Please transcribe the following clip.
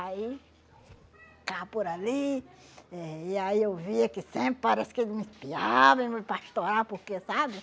Aí, cá por ali, eh e aí eu via que sempre parece que ele me espiava, me pastorava, porque, sabe?